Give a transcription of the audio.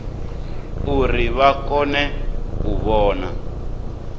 uri vha kone u vhona